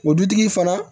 O dutigi fana